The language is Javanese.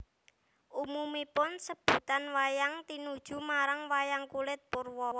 Umumipun sebutan wayang tinuju marang wayang kulit purwa